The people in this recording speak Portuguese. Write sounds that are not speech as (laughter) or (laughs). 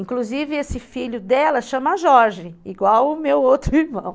Inclusive esse filho dela chama Jorge, igual o meu outro irmão. (laughs)